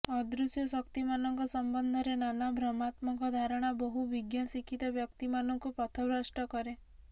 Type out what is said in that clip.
ଅଦୃଶ୍ୟ ଶକ୍ତିମାନଙ୍କ ସମ୍ବନ୍ଧରେ ନାନା ଭ୍ରମାତ୍ମକ ଧାରଣା ବହୁ ବିଜ୍ଞ ଶିକ୍ଷିତ ବ୍ୟକ୍ତିମାନଙ୍କୁ ପଥଭ୍ରଷ୍ଟ କରେ